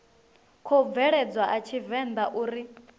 khou bveledzwa a tshivenḓa uri